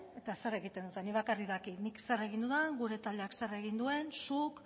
eta zer egiten duten nik bakarrik dakit nik zer egin dudan gure taldeak zer egin duen zuk